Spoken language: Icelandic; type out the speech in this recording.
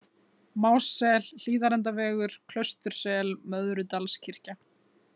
Mássel, Hlíðarendavegur, Klaustursel, Möðrudalskirkja